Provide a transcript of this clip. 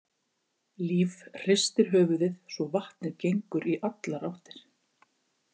Líf hristir höfuðið svo vatnið gengur í allar áttir.